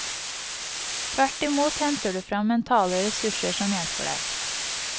Tvert imot henter du frem mentale ressurser som hjelper deg.